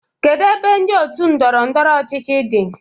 Kedu ebe ndị otu ndọrọ ndọrọ ọchịchị dị?